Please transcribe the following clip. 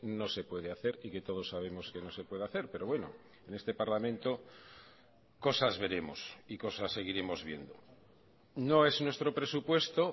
no se puede hacer y que todos sabemos que no se puede hacer pero bueno en este parlamento cosas veremos y cosas seguiremos viendo no es nuestro presupuesto